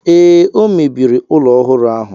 Ee, o mebiri ụlọ ọhụrụ ahụ.